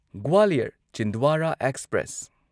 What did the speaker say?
Gwalior Chhindwara express